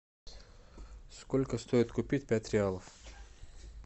сколько стоит купить пять реалов